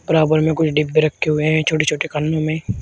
बराबर में कुछ डिब्बे रखे हुए हैं छोटे छोटे खान्नों में।